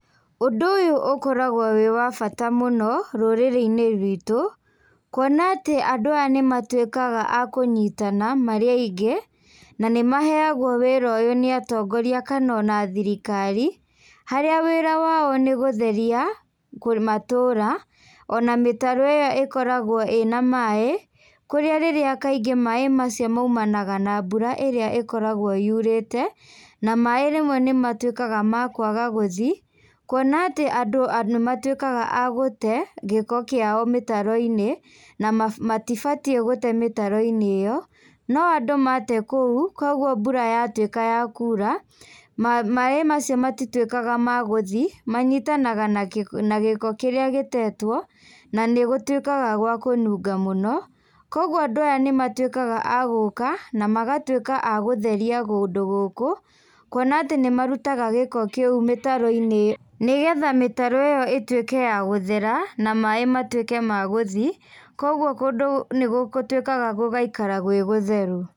Ũndũ ũyũ ũkoragwo wĩ wa bata mũno, rũrĩrĩ-inĩ ruitũ, kuona atĩ andũ aya nĩmatuĩkaga a kũnyitana, marĩ aingĩ, na nĩmaheagwo wĩra ũyũ nĩ atongoria kana ona thirikari, harĩa wĩra wao nĩgũtheria, matũra, ona mĩtaro ĩyo ĩkoragwo ĩna maĩ, kũrĩa rĩrĩa kaingĩ maĩ macio maumanaga na mbura ĩria ĩkoragwo yurĩte, na maĩ rĩmwe nĩmatuĩkaga ma kwaga gũthi, kuona atĩ andũ nĩmatuĩkaga a gũte gĩko kiao mĩtaroinĩ, na ma matibatie gũte mĩtaroinĩ ĩyo, no andũ mate kũu, koguo mbura yatuĩka ya kura, ma maĩ macio matituĩkaga ma gũthiĩ, manyitanaga na gĩko kĩrĩa gĩtetwo, na gũtuĩkaga gwa kũnunga mũno, koguo andũ aya nĩmatuĩkaga agũka, namagatuĩka a gũtheria kũndũ gũkũ, kwona atĩ nĩmarutaga gĩko kĩu mĩtaroinĩ, nĩgetha mĩtaro ĩyo ĩtuĩke ya gũthera, na maĩ matuĩke ma gũthi, koguo kũndũ nĩgũtuĩkaga gũgaikara gwĩ gũtheru.